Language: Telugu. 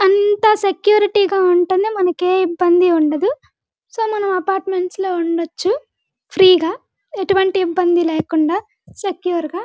అంతా సెక్యురిటీ గ ఉంటుంది మనకి ఏ ఇబ్బంది ఉండదు సో మనం అపార్ట్మెంట్స్ లో ఉండచ్చు ఫ్రీ గ ఎటువంటి ఇబ్బంది లేకుండా సెక్యూర్ గ--